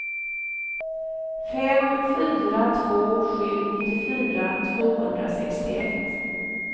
fem fyra två sju nittiofyra tvåhundrasextioett